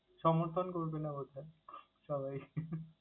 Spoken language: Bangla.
সমর্থণ করবে না বাছা সবাই।